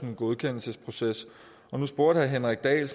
en godkendelsesproces herre henrik dahl